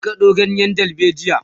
zan kado ganyen dalbejia